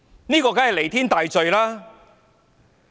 這當然是彌天大罪。